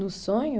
No sonho?